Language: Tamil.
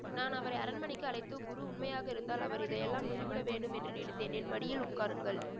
நான் அவரை அரண்மனைக்கு அழைத்து குரு உண்மையாக இருந்தால் அவர் இதையெல்லாம் விட்டுவிட வேண்டும் என்று நினைத்தேன் என் மடியில் உட்காருங்கள்